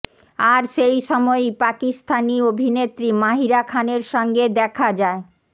আর সেই সময়ই পাকিস্তানি অভিনেত্রী মাহিরা খানের সঙ্গে দেখা যায়